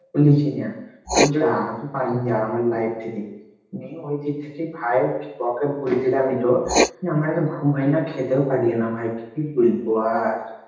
লিচি ন্যা তু যা তু পালিং যা আমার life থেকে, নিং ওইদিক থেকে ভাই ওকে বুলদিলাম এটো নিং আমার আর গুম হয়না খেতেও পারিও না ভাই কি বুলব আর,